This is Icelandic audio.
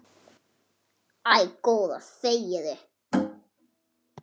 Æ, góða þegiðu.